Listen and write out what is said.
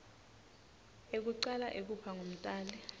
ekucala ekuba ngumtali